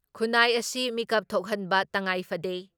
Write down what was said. ꯈꯨꯟꯅꯥꯏ ꯑꯁꯤ ꯃꯤꯀꯞ ꯊꯣꯛꯍꯟꯕ ꯇꯉꯥꯏ ꯐꯗꯦ ꯫